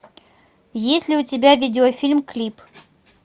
есть ли у тебя видеофильм клип